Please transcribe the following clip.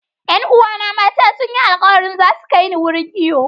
Yan uwana mata sun yi alkawari za su kai ni wurin iyo.